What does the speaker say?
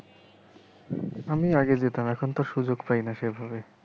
আমি আগে যেতাম এখনতো সুযোগ পাইনা সেভাবে।